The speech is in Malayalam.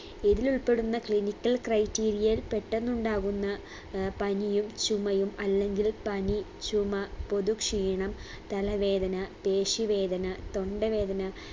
ഇതിലുൾപ്പെടുന്ന clinical criteria ൽ പെട്ടെന്നുണ്ടാകുന്ന അഹ് പനിയും ചുമയും അല്ലെങ്കിൽ പനി ചുമ പൊതുക്ഷീണം തലവേദന പേശിവേദന തൊണ്ടവേദന